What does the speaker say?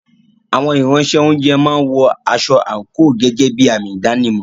Àwọn Ìránṣẹ́-oúnjẹ máa ń wọ aṣọ àǹkóò gẹ́gẹ́ bí àmì ìdánimọ̀.